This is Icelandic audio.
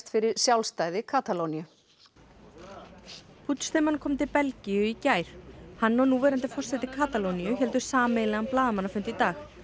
fyrir sjálfstæði Katalóníu kom til Belgíu í gær hann og núverandi forseti Katalóníu héldu sameiginlegan blaðamannafund í dag